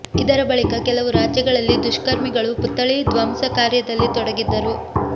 ಇದರ ಬಳಿಕ ಕೆಲವು ರಾಜ್ಯಗಳಲ್ಲಿ ದುಷ್ಕರ್ಮಿಗಳು ಪುತ್ಥಳಿ ಧ್ವಂಸ ಕಾರ್ಯದಲ್ಲಿ ತೊಡಗಿದ್ದರು